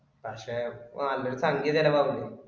പക്ഷെ നല്ല ഒരു സംഖ്യ ചെലവാക്കുന്ന്